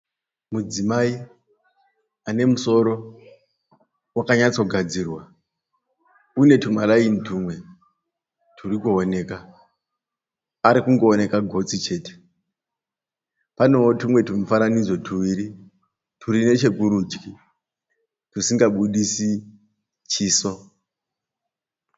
Mudzimai ane musoro wakanyatsogadzirwa. Une tumaraini tumwe turi kuonekwa. Arikungoonekwa gotsi chete. Paneo tumwe tumufananidzo tuviri turi nechekurudyi tusingabudisi chiso.